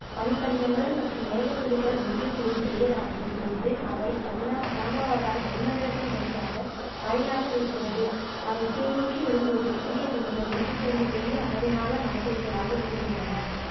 பனிப்படிகங்கள் மற்றும் மேகத்துளிகள் ஒன்று கூடி பெரியதாகும் பொழுது அவை கடினமா கனமாவதால் வளிமண்டலத்தின் வழியாக மழையாக வீழ்கிறது அவை கீழ்நோக்கி விழும்போது சிறிய துளிகள் ஒன்றுசேர்ந்து பெரிய அளவிலான மழைத்துளிகளாக விழுகின்றன